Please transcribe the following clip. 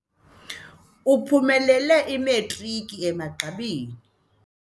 Uphumelele imatriki emagqabini.